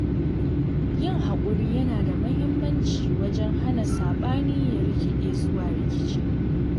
Yin haƙuri yana da muhimmanci wajen hana saɓani ya rikide zuwa rikici.